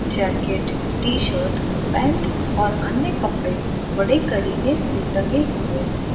Jacket T shirt pant और अन्य कपड़े बड़े करीने से टंगे हुए हैं।